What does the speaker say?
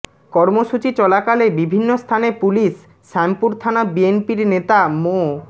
কর্মসূচি চলাকালে বিভিন্ন স্থানে পুলিশ শ্যামপুর থানা বিএনপির নেতা মো